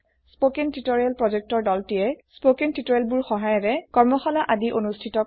কথন শিক্ষণ প্ৰকল্পৰ দলটিয়ে কথন শিক্ষণ সহায়িকাৰে কৰ্মশালা আদি অনুষ্ঠিত কৰে